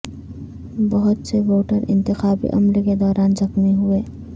بہت سے ووٹر انتخابی عمل کے دوران زخمی ہوئے